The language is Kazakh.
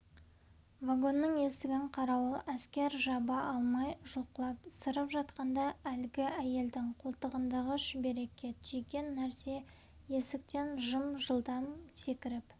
вагонның есігін қарауыл әскер жаба алмай жұлқылап сырып жатқанда әлгі әйелдің қолтығындағы шүберекке түйген нәрсе есіктен жып-жылдам секіріп